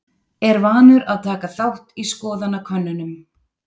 Er vanur að taka þátt í skoðanakönnunum.